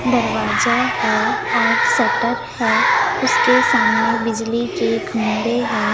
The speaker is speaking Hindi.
दरवाजा है और शटर है उसके सामने बिजली के खंबे है।